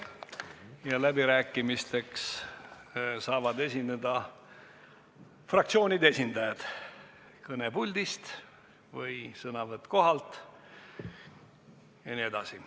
Ja läbirääkimistel saavad esineda fraktsioonide esindajad kõnepuldist või sõnavõtt kohalt jne.